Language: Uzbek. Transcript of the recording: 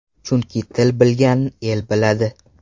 Chunki til bilgan el biladi.